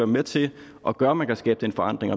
med til at gøre at man kan skabe den forandring